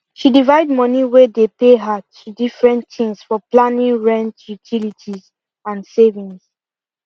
she divide money way dey pay her to different things for planing rent utilities and savings